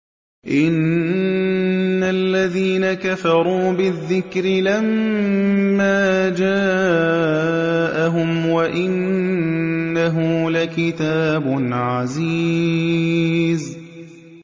إِنَّ الَّذِينَ كَفَرُوا بِالذِّكْرِ لَمَّا جَاءَهُمْ ۖ وَإِنَّهُ لَكِتَابٌ عَزِيزٌ